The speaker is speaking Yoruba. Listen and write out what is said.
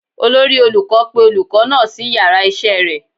Olori olukọ pe olukọ naa si iyara isé rẹ